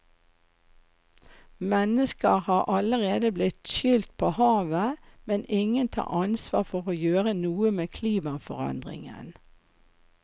Mennesker har allerede blitt skylt på havet, men ingen tar ansvar for å gjøre noe med klimaforandringen.